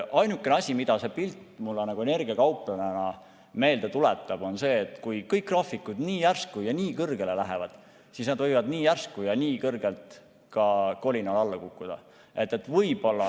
Ainuke asi, mida see pilt mulle energiakauplejana meelde tuletab, on see, et kui kõik graafikud nii järsku ja nii kõrgele lähevad, siis nad võivad nii järsku ja nii kõrgelt ka kolinal alla kukkuda.